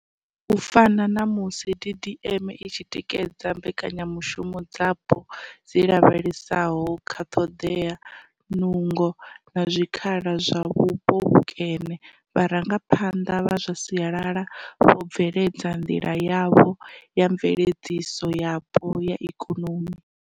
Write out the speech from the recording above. U fana na musi DDM i tshi tikedza mbekanya mushumo dzapo dzi lavhelesaho kha ṱhodea, nungo na zwi khala kha vhupo vhukene, vharangaphanḓa vha zwa sialala vho bveledza nḓila yavho ya mveledziso yapo ya ikonomi.